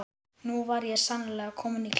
Nú var ég sannarlega kominn í klípu!